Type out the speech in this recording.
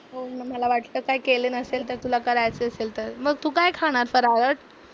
मला वाटलं काय काय केलं नसेल तर तुला करायचं असेल तर, मग तू काय खाणार फराळात?